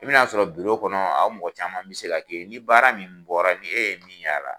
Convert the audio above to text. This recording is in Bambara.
I bɛna sɔrɔ biro kɔnɔ anw mɔgɔ caman bɛ se ka kɛ yen ni baara min bɔra ni e ye min y'a la